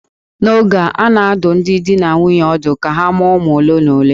N'oge a, a na-adụ ọdụ ndị di na nwunye ọdụ ka ha mụọ ụmụ ole na ole